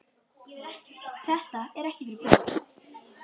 Þetta er ekki fyrir börn.